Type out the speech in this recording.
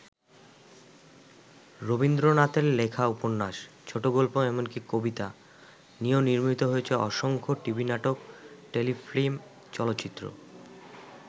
রবীন্দ্রনাথের লেখা উপন্যাস, ছোটগল্প এমনকি কবিতা নিয়েও নির্মিত হয়েছে অসংখ্য টিভি নাটক, টেলিফিল্ম, চলচ্চিত্র।